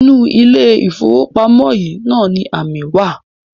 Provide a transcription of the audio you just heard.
Inú ilé-ìfowópamọ́ yìí náà ni amí wa.